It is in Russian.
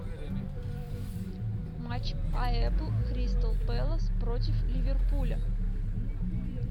матч апл кристал пэлас против ливерпуля